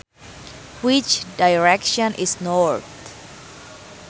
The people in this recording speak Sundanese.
Which direction is north